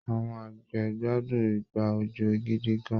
Àwọn àgbẹ̀ ń gbádùn ìgbà òjò gidi gan-an